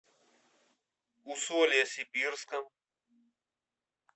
усолье сибирском